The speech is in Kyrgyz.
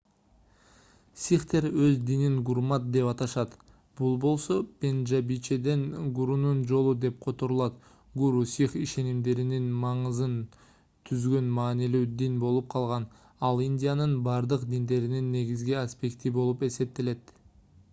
сихтер өз динин гурмат деп аташат бул болсо пенжабичеден гурунун жолу деп которулат гуру сих ишенимдеринин маңызын түзгөн маанилүү дин болуп калган ал индиянын бардык диндеринин негизги аспекти болуп эсептелет